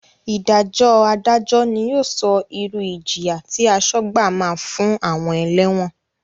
Ìdájọ́ Adájọ́ ni yóò sọ irú ìjìyà tí asọ́gbà máa fún àwọn ẹlẹ́wọ̀n